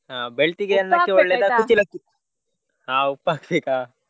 ಹಾ ಉಪ್ಪು ಹಾಕ್ಬೇಕಾ?